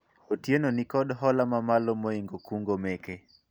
Otieno nikod hola mamalo moingo kungo meke